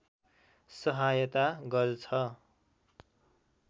सहायता गर्छ